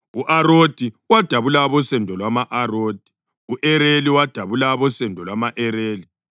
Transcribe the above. u-Arodi wadabula abosendo lwama-Arodi; u-Areli wadabula abosendo lwama-Areli.